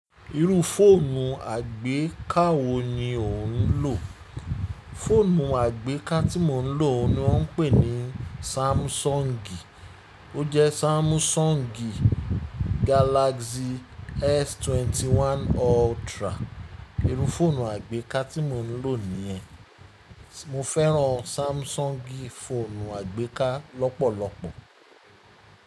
Irú fóònù àgbéká wo ni o n ò? Fóònù àgbéká tí mo ń lò ni wọ́n ń pè ní Samsung. Ó jẹ́ Samsung Galaxy S21 Ultra. Irú fóònù àgbéká tí mo ń lò ní ẹ. Mo fẹ́ran Samsung fóònù àgbéká lọ́pọ̀lọpọ̀.